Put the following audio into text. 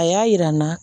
A y'a yira n na